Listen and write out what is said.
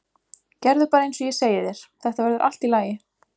Gerðu bara eins og ég segi þér, þetta verður allt í lagi.